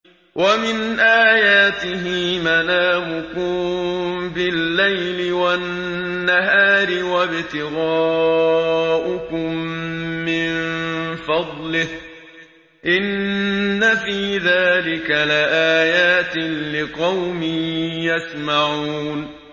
وَمِنْ آيَاتِهِ مَنَامُكُم بِاللَّيْلِ وَالنَّهَارِ وَابْتِغَاؤُكُم مِّن فَضْلِهِ ۚ إِنَّ فِي ذَٰلِكَ لَآيَاتٍ لِّقَوْمٍ يَسْمَعُونَ